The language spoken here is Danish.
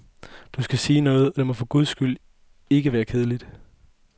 Du skal sige noget, og det må for guds skyld ikke være kedsommeligt.